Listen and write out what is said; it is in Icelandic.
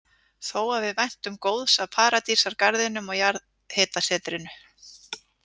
Þó að við væntum góðs af Paradísargarðinum og jarðhitasetrinu.